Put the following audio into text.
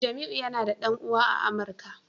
Jamiu yana da dan uwa a amuka